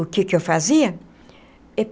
O que que eu fazia?